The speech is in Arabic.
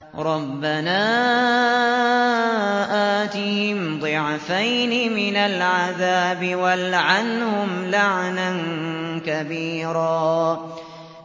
رَبَّنَا آتِهِمْ ضِعْفَيْنِ مِنَ الْعَذَابِ وَالْعَنْهُمْ لَعْنًا كَبِيرًا